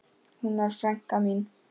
Hún var frænka mín.